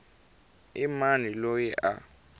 i mani loyi a a